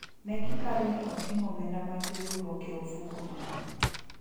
ne giparo ni oting'o omenda mag riwruok e ofuku no